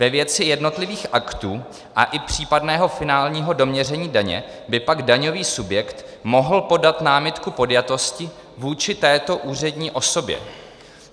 Ve věci jednotlivých aktů a i případného finálního doměření daně by pak daňový subjekt mohl podat námitku podjatosti vůči této úřední osobě."